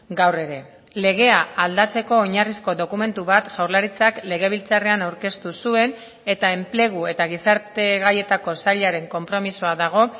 gaur ere legea aldatzeko oinarrizko dokumentu bat jaurlaritzak legebiltzarrean aurkeztu zuen eta enplegu eta gizarte gaietako sailaren konpromisoa dago